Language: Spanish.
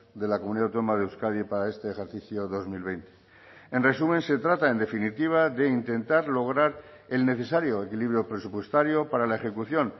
de la comunidad autónoma de euskadi para este ejercicio dos mil veinte en resumen se trata en definitiva de intentar lograr el necesario equilibrio presupuestario para la ejecución